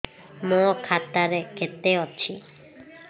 ମୋ ଖାତା ରେ କେତେ ଅଛି